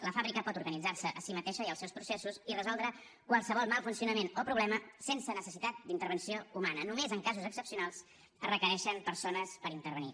la fàbrica pot organitzar se a si mateixa i els seus processos i resoldre qualsevol mal funcionament o problema sense necessitat d’intervenció humana només en casos excepcionals es requereixen persones per intervenir